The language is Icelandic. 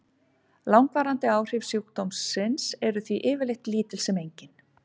Langvarandi áhrif sjúkdómsins eru því yfirleitt lítil sem engin.